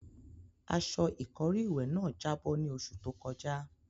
Aṣọ ìkọ́rí ìwẹ̀ náà jábọ́ ní oṣù tó kọjá.